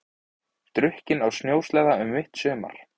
Drukkinn á snjósleða um mitt sumar